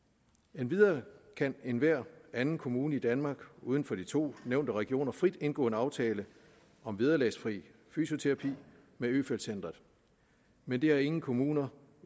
endvidere kan enhver anden kommune i danmark uden for de to nævnte regioner frit indgå en aftale om vederlagsfri fysioterapi med øfeldt centret men det har ingen kommuner